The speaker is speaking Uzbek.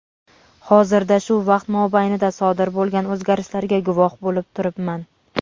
hozirda shu vaqt mobaynida sodir bo‘lgan o‘zgarishlarga guvoh bo‘lib turibman.